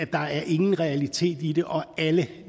ingen realitet i det og alle